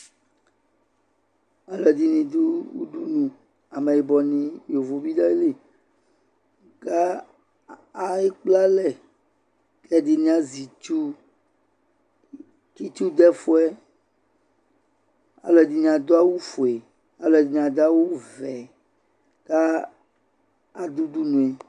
Alɛde ne do udunu, amɛbɔ ne, yovo be du ayili ka ai ekple alɛ k dene azɛ itsu, ke tsu do ɛfuɛ, Alɛde ne ado awufue, alɛde ne ado awuvɛ ka ado udunue